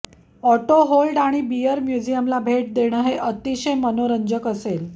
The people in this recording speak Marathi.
ऑटोहोल्ड आणि बीयर म्युझियमला भेट देणं हे अतिशय मनोरंजक असेल